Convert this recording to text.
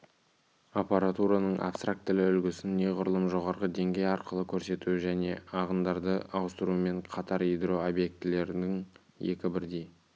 аппаратураның абстрактілі үлгісін неғұрлым жоғарғы деңгей арқылы көрсету және ағындарды ауыстырумен қатар ядро обьектілердің екі бірдей